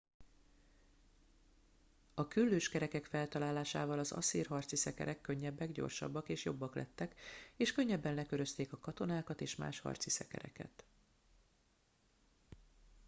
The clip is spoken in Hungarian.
a küllős kerekek feltalálásával az asszír harci szekerek könnyebbek gyorsabbak és jobbak lettek és könnyebben lekörözték a katonákat és más harci szekereket